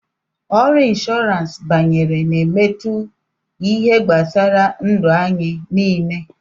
Ọrụ Inshọransi banyere na-emetụ ihe gbasara ndu anyị niile.